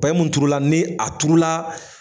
Paye mun turula ni a turula